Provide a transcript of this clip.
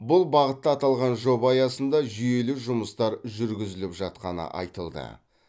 бұл бағытта аталған жоба аясында жүйелі жұмыстар жүргізіліп жатқаны айтылды